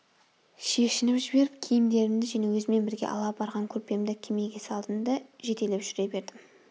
шешініп жіберіп киімдерімді және өзіммен бірге ала барған көрпемді кемеге салдым да жетелеп жүре бердім